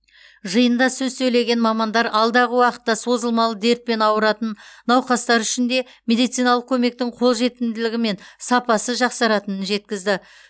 жиында сөз сөйлеген мамандар алдағы уақытта созылмалы дертпен аурыратын науқастар үшін де медициналық көмектің қолжетімділігі мен сапасы жақсаратынын жеткізді